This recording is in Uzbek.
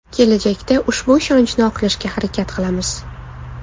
Kelajakda ushbu ishonchni oqlashga harakat qilamiz.